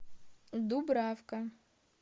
дубравка